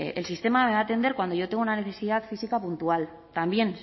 el sistema debe atender cuando yo tengo una necesidad física puntual también